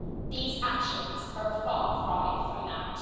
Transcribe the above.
These actions are a far cry from that.